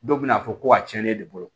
Dɔw bɛ n'a fɔ ko a cɛnnen de bolo